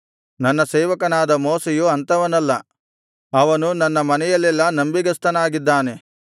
ನನ್ನ ಸೇವಕನಾದ ಮೋಶೆಯು ಅಂಥವನಲ್ಲ ಅವನು ನನ್ನ ಮನೆಯಲ್ಲೆಲ್ಲಾ ನಂಬಿಗಸ್ತನಾಗಿದ್ದಾನೆ